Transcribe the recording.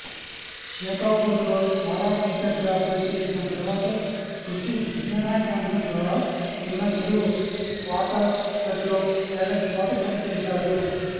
షేకాపూర్లో para టీచర్గా పనిచేసిన తర్వాత కృషి విజ్ఞాన కేంద్రం ద్వారా చిన్నచెరువు వాటర్షెడ్లో ఏడాది పాటు పనిచేశారు